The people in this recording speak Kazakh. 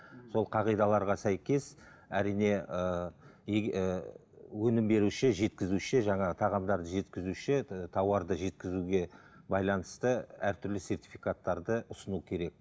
сол қағидаларға сәйкес әрине ыыы ііі өнім беруші жеткізуші жаңағы тағамдарды жеткізуші тауарды жеткізуге байланысты әртүрлі сертификаттарды ұсыну керек